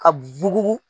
Ka bugu